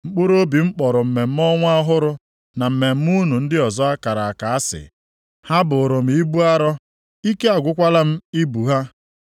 Mkpụrụobi m kpọrọ mmemme ọnwa ọhụrụ, na mmemme unu ndị ọzọ a kara aka asị. Ha bụụrụ m ibu arọ, ike agwụkwala m ibu ha.